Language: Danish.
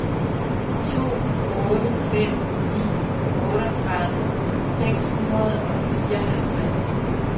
to otte fem ni otteogtredive seks hundrede og fireoghalvtreds